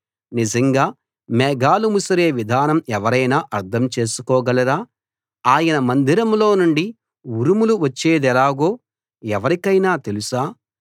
నిజంగా మేఘాలు ముసిరే విధానం ఎవరైనా అర్థం చేసుకోగలరా ఆయన మందిరం లోనుండి ఉరుములు వచ్చేదెలాగో ఎవరికైనా తెలుసా